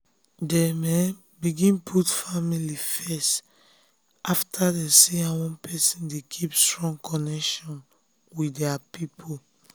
dem um begin put family first after dem see how one person dey keep strong connection with their own people. um